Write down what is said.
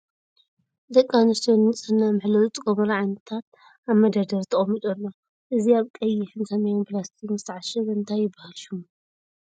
ደቂ ኣንስትዮ ንንፅህና መሐለዊ ዝጥቀማሉ ዓይነታት ኣብ መደርደሪ ተቀሚጡ ኣሎ እዚ ኣብ ቀይሕን ሰማያዊን ላስቲክ ዝተዓሸገ እንታይ ይበሃል ሽሙ ?